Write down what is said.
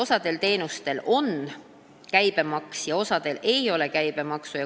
Osal teenustel on käibemaks ja osal ei ole käibemaksu.